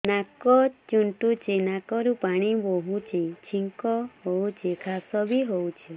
ନାକ ଚୁଣ୍ଟୁଚି ନାକରୁ ପାଣି ବହୁଛି ଛିଙ୍କ ହଉଚି ଖାସ ବି ହଉଚି